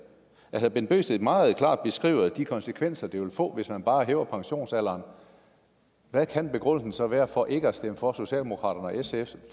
når herre bent bøgsted meget klart beskriver de konsekvenser det vil få hvis man bare hæver pensionsalderen hvad kan begrundelsen så være for ikke at stemme for socialdemokratiets